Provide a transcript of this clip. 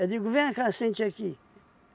digo, vem cá, sente aqui.